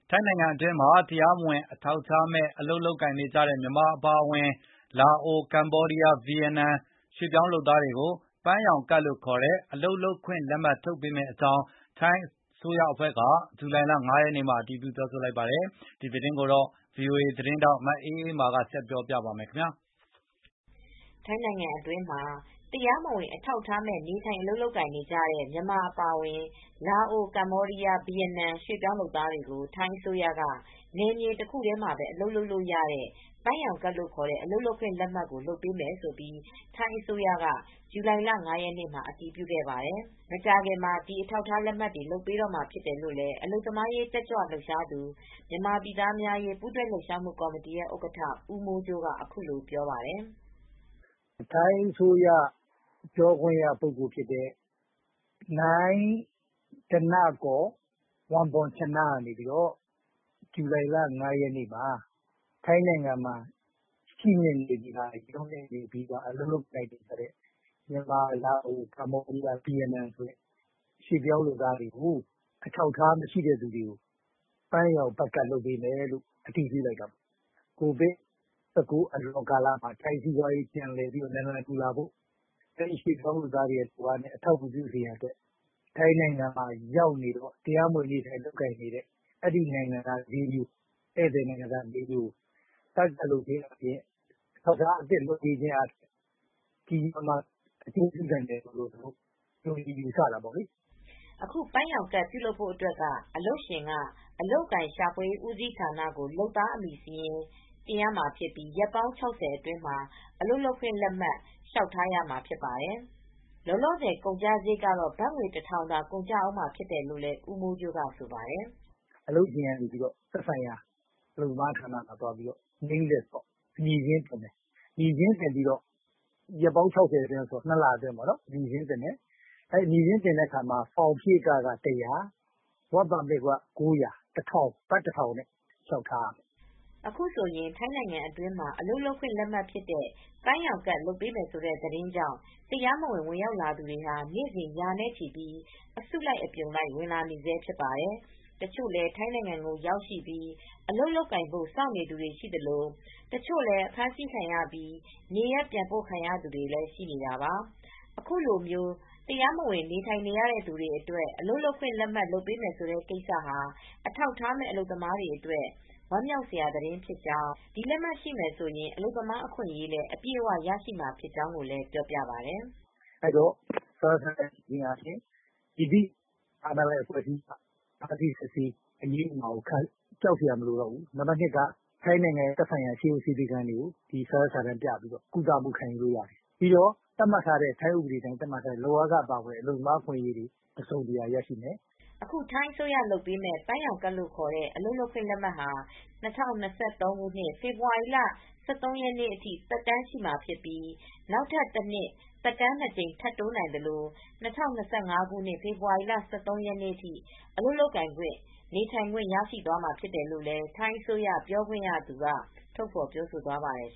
ထိုင်းနိုင်ငံအတွင်းမှာ တရားမဝင် အထောက်အထားမဲ့ နေထိုင် အလုပ်လုပ်ကိုင်နေကြတဲ့ မြန်မာ အပါအဝင် လာအို၊ ကမ္ဘောဒီးယား၊ ဗီယက်နမ် ရွှေပြောင်းလုပ်သားတွေကို ပန်းရောင်ကဒ်လို့ ခေါ်တဲ့ အလုပ်လုပ်ခွင့် လက်မှတ် လုပ်ပေးမယ့် အကြောင်း ထိုင်အစိုးရအဖွဲ့က ဇူလိုင် ၅ ရက်နေ့မှာ အတည်ပြုလိုက်ပါတယ်။ ဗွီအိုအေ သတင်းထောက် မအေးအေးမာက သတင်းပေးပို့ ထားပါတယ်။ ထိုင်းနိုင်ငံအတွင်းမှာ တရားမဝင် အထောက်အထားမဲ့ နေထိုင် အလုပ်လုပ်ကိုင်နေကြတဲ့ မြန်မာအပါအဝင် လာအို၊ ကမ္ဘောဒီးယား၊ ဗီယက်နမ် ရွှေပြောင်းလုပ်သားတွေကို ထိုင်းအစိုးရက နယ်မြေတခုတည်းမှာပဲ အလုပ်လုပ်လို့ ရတဲ့ ပန်းရောင်ကဒ်လို့ ခေါ်တဲ့ အလုပ်လုပ်ခွင့် လက်မှတ်ကို လုပ်ပေးမယ်လို့ ထိုင်းအစိုးရက ဇူလိုင်လ ၅ ရက်နေ့မှာ အတည်ပြုခဲ့ပါတယ်။ မကြာခင်မှာ ဒီအထောက်အထား လက်မှတ်တွေ လုပ်ပေးတော့မှာ ဖြစ်တယ်လို့ အလုပ်သမားရေး တက်ကြွလှုပ်ရှားသူ မြန်မာပြည်သားများအရေး ပူးတွဲလှုပ်ရှားမှု ကော်မတီရဲ့ ဥက္ကဌ ဦးမိုးကြိုးက အခုလို ပြောပါတယ်။ “ ထိုင်းအစိုးရ ပြောခွင့်ရပုဂ္ဂိုလ် ဖြစ်တဲ့ ဓနကော် ဝမ်ဘွန်ချန က ဇူလိုင်လ ၅ ရက်နေ့မှာ ထိုင်းနိုင်ငံမှာ ရှိနေပြီးသား ရောက်ရှိပြီးသား အလုပ်လုပ်ကိုင်နေတဲ့ မြန်မာ၊ လာအို၊ ကမ္ဘောဒီးယား၊ ဗီယက်နမ် ရွှေ့ပြောင်းလုပ်သားတွေကို ပန်းရောင်ကဒ် လုပ်ပေးမယ် ဆိုတာကို အတည်ပြုလိုက်တာပါ။ ကိုဗစ် ၁၉ အလွန်ကာလမှာ ထိုင်းစီးပွားရေး နာလန်ပြန်ထူနိုင်ဖို့ ရွှေ့ပြောင်းလုပ်သားတွေ လုပ်အားနဲ့ အထောက်အကူပြုစေရန် အတွက် ထိုင်းနိုင်ငံမှာ ရောက်ရှိနေပြီးသား တရားမဝင် ရောက်ရှိနေပြီးသား နိုင်ငံ ၄ နိုင်ငံ နိုင်ငံသားတွေကို ဧည့်သည်နိုင်ငံသားတွေကို ဘတ်ကဒ် လုပ်ပေးခြင်း အားဖြင့် အထောက်အထားအသစ် လုပ်ပေးခြင်းအားဖြင့် ကြီးကြီးမားမား အကျိုးပြုနိုင်မယ်လို့ ယူဆတာပေါ့နော်။ ” အခု ပန်းရောင်ဘတ်ကတ်ပြုလုပ်ဖို့ အတွက်က အလုပ်ရှင်က အလုပ်အကိုင်ရှာဖွေရေး ဦးစီးဌာနကို လုပ်သားအမည်စာရင်း တင်ရမှာဖြစ်ပြီး ရက်ပေါင်း ၆၀အတွင်း အလုပ်လုပ်ကိုင်ခွင့်လက်မှတ် လျှောက်ထားရမှာ ဖြစ်ပါတယ်။ လောလောဆည် ကုန်ကျစာရိတ်ကတော့ ဘတ်ငွေ ၁,၀၀၀ သာ ကုန်ကျဦးမှာဖြစ်တယ်လို့ ဦးမိုးကြိုးက ဆိုပါတယ်။ “ အလုပ်ရှင်ကနေ သက်ဆိုင်ရာ အလုပ်သမားဝန်ကြီးဌာနမှာ Name List အမည်စာရင်း တင်သွင်းရမှာပေါ့နော်။ ရက်ပေါင်း ၆၀ နှစ်လ အတွင်း အမည်စာရင်းတင်သွင်းမှာပေါ့နော်။ အမည်စာရင်း တင်သွင်းရင် ဖောင်ဖြည့်ခက ဘတ် ၁၀၀ ၊ အလုပ်လုပ်ခွင့်လက်မှတ် လျှောက်ထားဖို့က ဘတ် ၉၀၀။ စုစုပေါင်းဘတ်ငွေ ၁,၀၀၀ နဲ့ လျှောက်ထားရမယ်။” အခုဆိုရင် ထိုင်းနိုင်ငံအတွင်းမှာ အလုပ်လုပ်ခွင့် လက်မှတ် ဖြစ်တဲ့ ပန်းရောင်ကဒ် လုပ်ပေးမယ်ဆိုတဲ့ သတင်းကြောင့် တရားမဝင် ဝင်ရောက်လာသူတွေဟာ နေ့စဉ် ရာနဲ့ချီပြီး အစုလိုက်အပြုံလိုက် ဝင်လာနေဆဲဖြစ်ပါတယ်။ တချို့လည်း ထိုင်းနိုင်ငံကို ရောက်ရှိပြီး အလုပ်လုပ်ကိုင်ဖို့ စောင့်နေသူတွေ ရှိသလို တချို့လည်း အဖမ်းဆီးခံရပြီး နေရပ်ပြန်ပို့ခံရသူတွေလည်း ရှိနေတာပါ။ အခုလို တရားမဝင် နေထိုင်နေရတဲ့ သူတွေအတွက် အလုပ်လုပ်ခွင့် လက်မှတ် လုပ်ပေးမယ်ဆိုတဲ့ ကိစ္စဟာ အထောက်အထားမဲ့ အလုပ်သမားတွေ အတွက် ဝမ်းမြောက်စရာ သတင်းဖြစ်ကြောင်း၊ ဒီလက်မှတ်ရှိမယ်ဆိုရင် အလုပ်သမား အခွင့်အရေးလည်း အပြည့်အ၀ ရရှိမှာဖြစ်ကြောင်းကိုလည်း ပြောပါတယ်။ “ စာရွက်စာတမ်း ရှိမယ်ဆိုရင် မည်သည့် အာဏာပိုင် အဖွဲ့အစည်းက ဖမ်းဆီးစစ်ဆေး အရေးယူမှာကို ကြောက်စရာ မလိုတော့ဘူး။ ထိုင်းနိုင်ငံရဲ့ ဆေးရုံဆေးခန်းတွေမှာ စာရွက်စာတမ်းပြပြီး ဆေးကုသမှု ခံယူလို့ရတယ်။ သတ်မှတ်ထားတဲ့ လုပ်အားခ အပါအဝင် အလုပ်သမား အခွင့်ရေးတွေလည်း အပြည့်အဝရရှိမယ်။ ” အခု ထိုင်းအစိုးရက လုပ်ပေးမယ့် ပန်းရောင်ကဒ်လို့ ခေါ်တဲ့ အလုပ်လုပ်ကိုင်ခွင့် လက်မှတ်ဟာ ၂၀၂၃ ခုနှစ် ဖေဖေါ်ဝါရီလ ၁၃ ရက်နေ့ အထိ သက်တမ်းရှိမှာဖြစ်ပြီး နောက်ထပ် ၁ နှစ်သက်တမ်း ၂ ကြိမ် ထပ်တိုးနိုင်သလို ၂၀၂၅ ခုနှစ် ဖေဖေါ်ဝါရီလ ၁၃ ရက်နေ့ အထိ အလုပ်လုပ်ကိုင်ခွင့်၊ နေထိုင်ခွင့် ရရှိသွားမှာဖြစ်တယ်လို့လည်း ထိုင်းအစိုးရ ပြောခွင့်ရသူတွေက ထုတ်ဖော်ပြောဆိုသွားပါတယ်